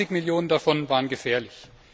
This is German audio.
20 Millionen davon waren gefährlich.